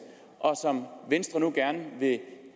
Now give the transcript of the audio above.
og som venstre nu gerne vil